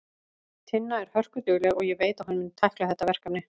Tinna er hörkudugleg og ég veit að hún mun tækla þetta verkefni.